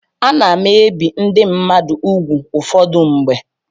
Ana m ebi ndị mmadụ úgwù ụfọdụ mgbe.